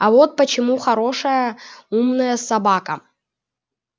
а вот почему хорошая умная собака